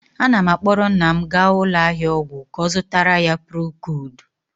Ana m akpọrọ nna m gaa ụlọ ahịa ọgwụ ka ọ zụtara ya procood,